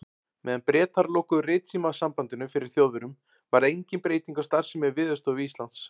Meðan Bretar lokuðu ritsímasambandinu fyrir Þjóðverjum, varð engin breyting á starfsemi Veðurstofu Íslands.